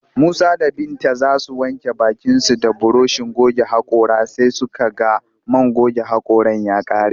Musa da Binta za su wanke bakinsu da burushin goge haƙora sai suka ga man goge haƙoran ya ƙare